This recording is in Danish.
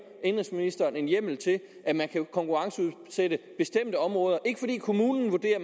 indenrigsministeren hjemmel til at konkurrenceudsætte bestemte områder ikke fordi kommunen vurderer at